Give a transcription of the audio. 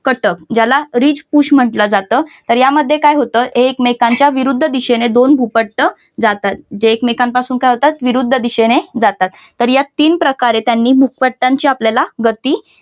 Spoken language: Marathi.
घटक याला रिच पुश म्हटलं जात तर या मध्ये काय होतो एकमेकांच्या विरुद्ध दिशेने दोन भूपट्ट जातात जे एकमेकांपासून काय होतात विरुद्ध दिशेने जातात तर या तीन प्रकारे त्यांनी भूपट्टांचे आपल्याला गती